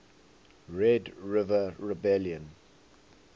red river rebellion